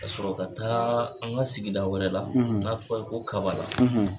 Ka sɔrɔ ka taa an ka sigi wɛrɛ la n'a tɔgɔ ye ko Kabala.